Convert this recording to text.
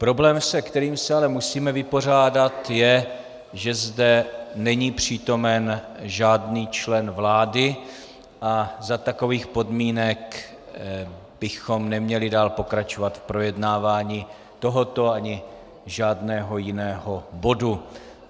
Problém, se kterým se ale musíme vypořádat je, že zde není přítomen žádný člen vlády a za takových podmínek bychom neměli dál pokračovat v projednávání tohoto ani žádného jiného bodu.